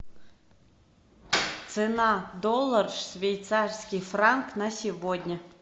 цена доллар швейцарский франк на сегодня